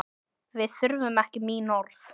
Við þurfum ekki mín orð.